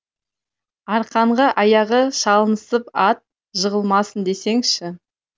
арқанға аяғы салынысып ат жығылмасын десеңші